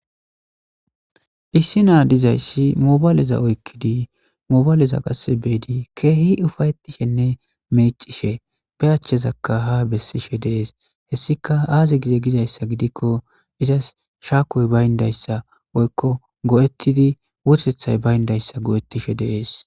Issi naa dizayssi mobaaleza oykkidi mobaaleza qasse beedi keehi ufayettishenne mecishe be achchezakka ha bessishe deees hessika aaze gize gizayssa gidikko izas shaakooy bayndayssa woykko go7ettidi wootethay bayndayssa go7ettishe deees